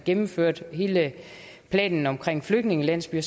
gennemførte hele planen om flygtningelandsbyer